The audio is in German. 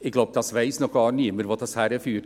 Ich glaube, es weiss noch niemand, wohin dies führt.